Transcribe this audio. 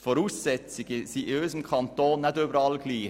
Die Voraussetzungen sind in unserem Kanton nicht überall gleich.